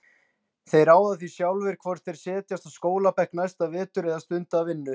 Þeir ráða því sjálfir hvort þeir setjast á skólabekk næsta vetur eða stunda vinnu.